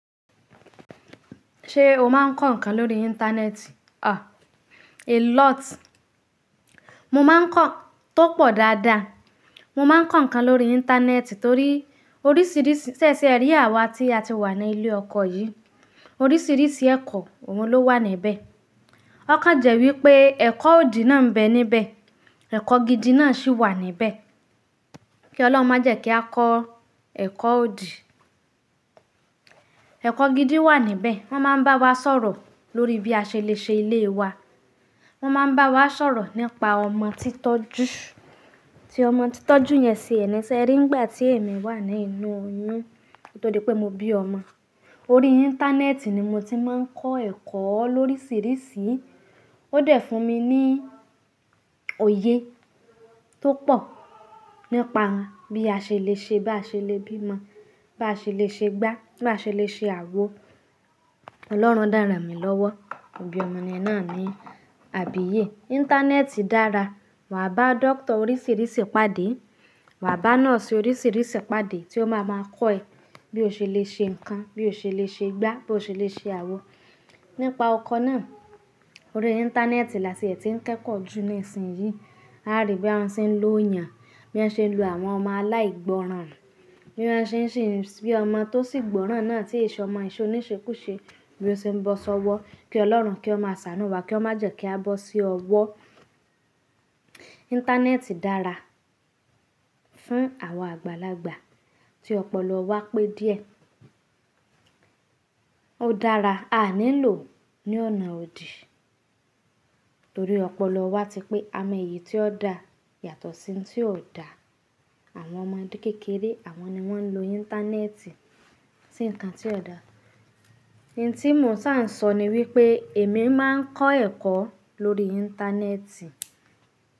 Ṣé o máa ń kọ ǹkan lórí ińtá nẹ́ẹ̀tì? A lot. Mo máa ń kọ tó pọ̀ dáadáa. Mo máa ń kọ ǹkan lórí ińtá nẹ́ẹ̀tì torí oríṣìíríṣìí, ṣẹ̀ ṣe ẹ rí àwa tí a ti wà ní ilé ọkọ yìí, oríṣìíríṣìí ẹ̀kọ́ òun ló wà níbẹ̀. Ó kan jẹ́ wípé ẹ̀kọ́ òdì náà ń bẹ níbẹ̀. Ẹ̀kọ́ gidi náà sì wà níbẹ̀. Kí Ọlọ́run má jẹ́ kí a kọ ẹ̀kọ́ òdì. Ẹ̀kọ́ gidi wà níbẹ̀. Wọ́n máa ń bá wa sọ̀rọ̀ lórí bí a ṣe le ṣe ilé wa. Wọ́n máa ń bá wa sọ̀rọ̀ nípa ọmọ títọ́jú, tí ọmọ títọ́jú yẹn ṣe ẹni ṣe ẹ rí nígbà tí èmi wà nínú oyún, torí pé mo bí ọmọ. Orí ińtá nẹ́ẹ̀tì ni mo ti máa ń kọ ẹ̀kọ́ oríṣìíríṣìí. Ó dẹ̀ fún mi ní òye tó pọ̀ nípa bí a ṣe le ṣe, bá ṣe le bí mọ, bá ṣe le ṣe gbá, bá ṣe le ṣe àwo. Ọlọ́run de ran mì lọ́wọ́. Mo bi omo yen náà ni, àbíyé. Ińtá nẹ́ẹ̀tì dára. Wàá bá dókítà oríṣìíríṣìí pàdé. Wàá bá nọ́ọ̀sì oríṣìíríṣìí pàdé tí ó máa máa kọ́ ẹ bí o ṣe le ṣe ǹkan, bí o ṣe le ṣe gbá, bí o ṣe le ṣe àwo. Nípa ọkọ náà, orí ińtá nẹ́ẹ̀tì là tí ẹ ti ń kẹ́kọ̀ọ́ jù ní ìsìn yìí. A rí bí wọ́n ṣe ń lo yàn. Bí wọ́n ṣe ń lu àwọn ọmọ aláìgbọràn. Bí wọ́n ṣe ń ṣì bí ọmọ tó sì gbọ́ràn náà tí ìṣe ọmọ, oníṣekú ṣe. Bí ó ṣe ń bọ́ sọ́wọ́. Kí Ọlọ́run kí ó máa ṣàánú wa, kí ó má jẹ́ kí a bọ́ sí ọwọ́. Íńtá nẹ́ẹ̀tì dára fún àwa àgbàlagbà tí ọpọlọ wa pé díẹ̀. Ó dára. A ní lò ó ní ọ̀nà òdì torí ọpọlọ wa ti pé a mọ èyí tí ó da yàtọ̀ sí tí ò da. Àwọn ọmọdé kékeré àwọn ni wọ́n ń lo Íńtánẹ́ẹ̀tì sí nǹkan tí ò da. I tí mo ṣà ń sọ ni wípé èmi máa ń kọ ẹ̀kọ́ lórí Íńtá nẹ́ẹ̀tì.